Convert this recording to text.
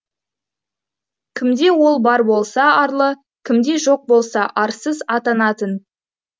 кімде ол бар болса арлы кімде жоқ болса арсыз атанатын